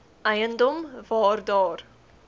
eiendom waar daar